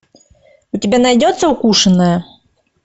у тебя найдется укушенная